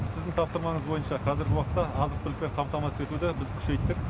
сіздің тапсырмаңыз бойынша қазіргі уақытта азық түлікпен қамтамасыз етуді біз күшейттік